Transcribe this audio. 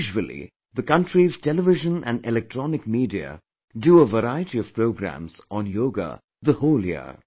Usually, the country's Television and electronic media do a variety of programmes on Yoga the whole year